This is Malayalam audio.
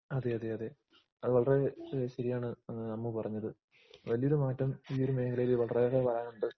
അതേയാതെയതെ. അതുവളരേ ശരിയാണ് അമ്മുപറഞ്ഞത്. വല്ല്യൊരുമാറ്റം ഈയോരുമേഖലയിൽ വളരേറെപറയാനുണ്ട്.